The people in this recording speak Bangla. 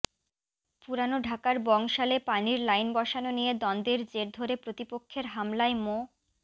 পুরান ঢাকার বংশালে পানির লাইন বসানো নিয়ে দ্বন্দ্বের জের ধরে প্রতিপক্ষের হামলায় মো